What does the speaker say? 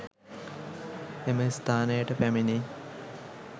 එම ස්ථානයට පැමිණි